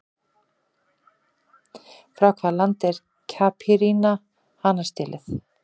Frá hvaða landi er Caipirinha hanastélið?